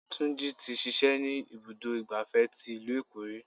Túnjí tí ṣíṣe ni ibùdó igbàfẹ́ tí ìlú Èkó ríi.